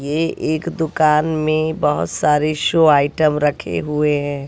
ये एक दुकान में बहोत सारे शो आइटम रखे हुए है।